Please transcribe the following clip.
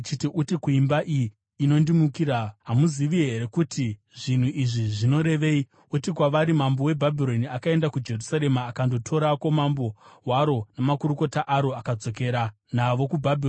“Uti kuimba iyi inondimukira, ‘Hamuzivi here kuti zvinhu izvi zvinorevei?’ Uti kwavari, ‘Mambo weBhabhironi akaenda kuJerusarema akandotorako mambo waro namakurukota aro, akadzokera navo kuBhabhironi.